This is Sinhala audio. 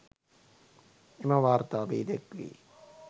එම වාර්තාවේ දැක්වේ